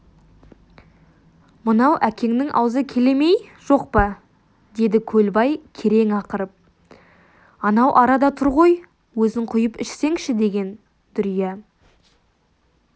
мынау әкеңнің аузы келе ме-ей жоқ па деді көлбай керең ақырып анау арада тұр ғой өзің құйып ішсеңші деген дүрия